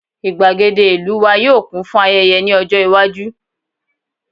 igbagede ìlú wa yíò kún fún ayẹyẹ ní ọjọ iwaju